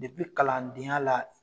kalandenya la